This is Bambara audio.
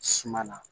Suma na